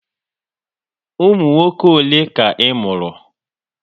Ụmụ nwoke ole ka ị mụrụ?